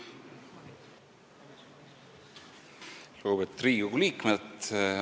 Lugupeetud Riigikogu liikmed!